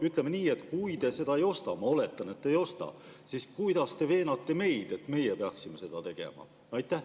Ütleme nii, et kui te seda ei ostaks – ma oletan, et te ei ostaks –, siis kuidas te veenate meid, et meie peaksime seda tegema?